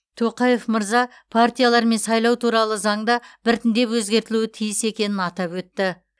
тоқаев мырза партиялар мен сайлау туралы заң да біртіндеп өзгертілуі тиіс екенін атап өтті